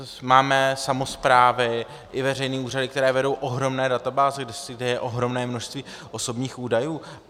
Máme samosprávy i veřejné úřady, které vedou ohromné databáze, kde je ohromné množství osobních údajů.